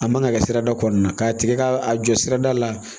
A man ka kɛ sirada kɔnɔna na k'a tigɛ ka a jɔ sirada la